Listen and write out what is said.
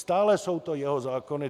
Stále jsou to jeho zákony.